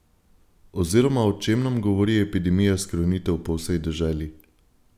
Oziroma o čem nam govori epidemija skrunitev po vsej deželi?